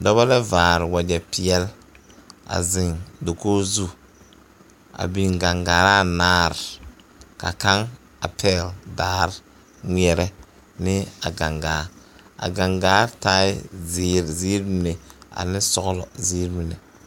Dɔba la vaare wagyɛpeɛle a zeŋ dakogi zu a biŋ gangaare anaare ka kaŋ a pɛgle daare ŋmeɛrɛ ne a gangaa a gangaa taa zeere ziiri mine ane sɔglɔ ziiri mine.